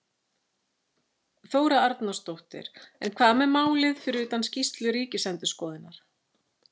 Þóra Arnórsdóttir: En hvað með málið fyrir utan skýrslu ríkisendurskoðunar?